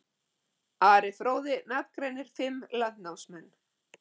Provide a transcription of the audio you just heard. Ari fróði nafngreinir fimm landnámsmenn.